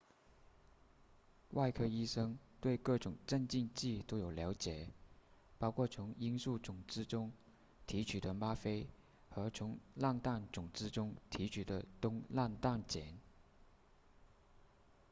外科医生对各种镇静剂都有了解包括从罂粟种子中提取的吗啡和从莨菪种子中提取的东莨菪碱